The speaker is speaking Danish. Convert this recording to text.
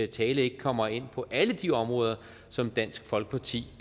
tale ikke kommer ind på alle de områder som dansk folkeparti